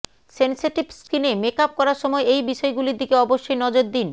sensitive স্কিনে makeup করার সময় এই বিষয়গুলির দিকে অবশ্যই নজর দিন